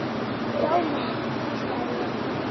Já mamma, hvísla ég.